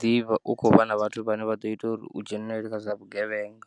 ḓivha u kho vha na vhathu vhane vha ḓo ita uri u dzhenelele kha zwa vhugevhenga.